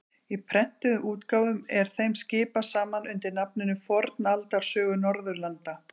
Í prentuðum útgáfum er þeim skipað saman undir nafninu Fornaldarsögur Norðurlanda.